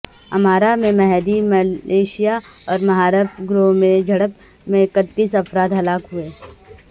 امارہ میں Mahdi militia اور محارب گروہ میں جھڑپ میں اکتیس افراد ہلاک ہوئے